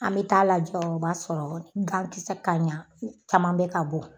An bɛ t'a lajɔ o b'a sɔrɔ gan kisɛ ka ɲan caman bɛ ka bɔ